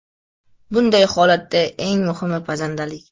Bunday holatda eng muhimi pazandalik.